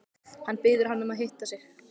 Hann biður hana að hitta sig.